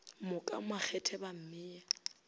mo ka makgethe ba mmea